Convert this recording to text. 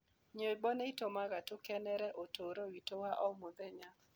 Nyĩmbo nĩ itũmaga tũkenere ũtũũro witũ wa o mũthenya.